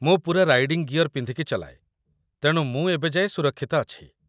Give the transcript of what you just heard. ମୁଁ ପୂରା riding gear ପିନ୍ଧିକି ଚଲାଏ, ତେଣୁ ମୁଁ ଏବେ ଯାଏଁ ସୁରକ୍ଷିତ ଅଛି ।